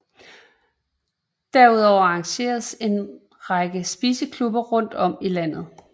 Derudover arrangeres en række spiseklubber rundt om i landet